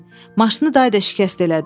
Maşını day da şikəst elədin.